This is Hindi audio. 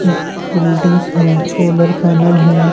ब- बिल्डिंग्स हैं सोलर पेनल हैं।